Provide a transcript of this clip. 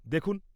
-দেখুন।